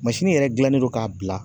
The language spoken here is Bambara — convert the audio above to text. yɛrɛ gilannen don ka bila